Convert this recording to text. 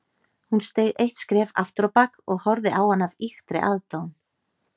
Hún steig eitt skref afturábak og horfði á hann af ýktri aðdáun.